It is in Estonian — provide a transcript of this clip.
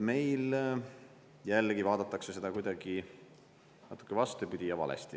Meil jällegi vaadatakse seda kuidagi natuke vastupidi ja valesti.